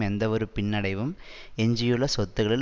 எந்தவொரு பின்னடைவும் எஞ்சியுள்ள சொத்துக்களில்